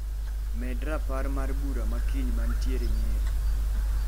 Med rapar mar bura ma kiny mantiere Nyeri.